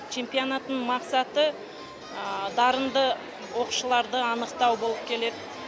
чемпионаттың мақсаты дарынды оқушыларды анықтау болып келеді